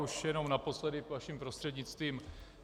Už jen naposledy, vaším prostřednictvím.